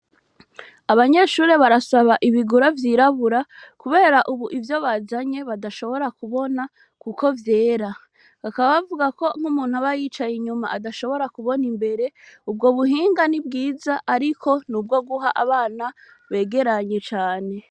Abanyeshuri barasaba ibigura vyirabura, kubera, ubu ivyo bazanye badashobora kubona, kuko vyera akabavuga ko nk'umuntu abayicaye inyuma adashobora kubona imbere ubwo buhinga ni bwiza, ariko ni ubwo guha abana begeranye cane.